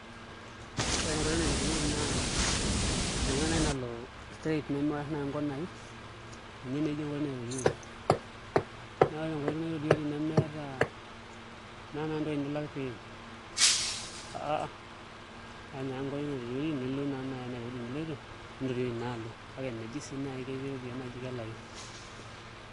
Ore enkoitoi naitoriori naa enkoitoi naai nalo straight nemewosh naai nkonaai ninye naa eji enkoitoi naitoriori naa ore enkoitoi naitoriori nemeeta, meeta naai entoki nilak pee iim aaim ake enkoitoi naitoriori naai teneeta ewuei niloito nintoriori naa alo kake meji sii naai ketii iropiyiani naaji kelaki.